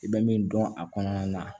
I bɛ min dɔn a kɔnɔna na